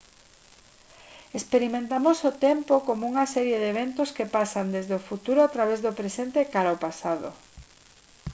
experimentamos o tempo como unha serie de eventos que pasan desde o futuro a través do presente e cara ao pasado